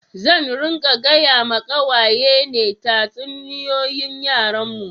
Zan ringa gaya ma kawaye ne tatsuniyoyin yaren mu